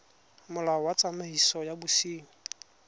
molao wa tsamaiso ya bosenyi